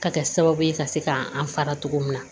Ka kɛ sababu ye ka se ka an fara togo min na